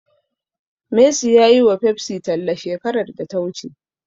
Messi ya yiwa Pepsi talla shekarar da ta wuce.